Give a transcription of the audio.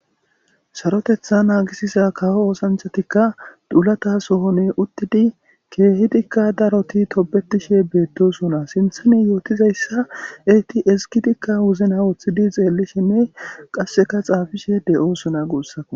Saroteeththa naagisisa kawo oosanchatikka dulata sohonne uttidi keehidikka daroti tobetiishshe beettosona siinththane yootizayssa eti eskitikka wozina woththidi xeellishenne qasseka xaafishe de'osona guussakko